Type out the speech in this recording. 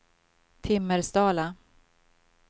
Timmersdala